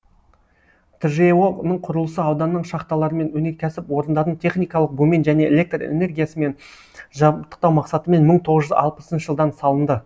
тжэо ның құрылысы ауданның шахталарымен өнеркәсіп орындарын техникалық бумен және электр энергиясымен жабдықтау мақсатымен мың тоғыз жүз алпысыншы жылдан салынды